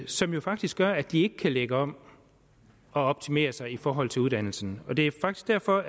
som jo faktisk gør at de ikke kan lægge om og optimere sig i forhold til uddannelserne det er faktisk derfor